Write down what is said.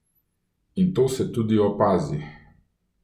In to se tudi opazi.